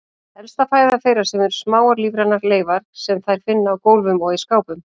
Helsta fæða þeirra eru smáar lífrænar leifar sem þær finna á gólfum og í skápum.